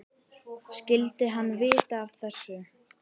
Skyldi hann vita af þessu?